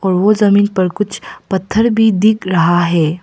और वो जमीन पर कुछ पत्थर भी दिख रहा है।